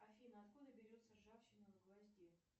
афина откуда берется ржавчина на гвозде